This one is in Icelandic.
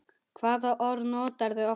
Hvaða orð notarðu oftast?